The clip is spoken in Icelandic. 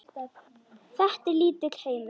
Þetta er lítill heimur.